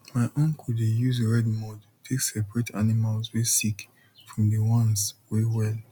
my uncle dey use red mud take seperate animals wey sick from the ones wey well